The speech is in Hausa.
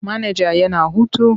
Manaja yana hutu.